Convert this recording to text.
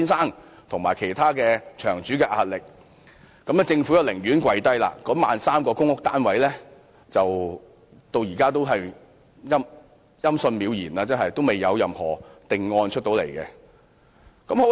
面對曾先生及其他場主的壓力，政府便"跪低"，而 13,000 個公屋單位至今仍然音訊渺然，未有任何定案。